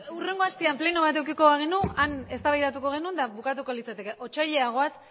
hurrengo astean pleno bat edukiko bagenu han eztabaidatuko genuen eta bukatuko litzateke otsailera goaz